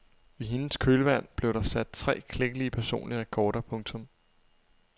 I hendes kølvand blev der sat tre klækkelige personlige rekorder. punktum